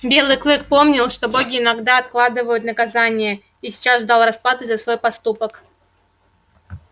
белый клык помнил что боги иногда откладывают наказание и сейчас ждал расплаты за свой поступок